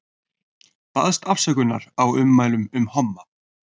Baðst afsökunar á ummælum um homma